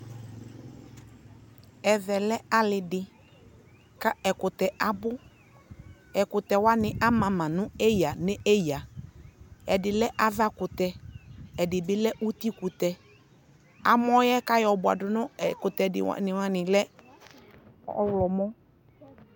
ɛvɛ lɛ ali di, kɛ ɛkʋtɛ abʋ, ɛkʋtɛ wani ama ma nʋ ɛyaa ɛyaa, ɛdi lɛ aɣa kʋtɛ ɛdibi lɛ ʋti kʋtɛ, amɔɛ kʋ ayɔ bʋadʋ nʋ ɛkʋtɛ ɛdi wani lɛ ɔwlɔmʋ